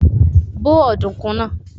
Bó ọ̀dùnkún náà!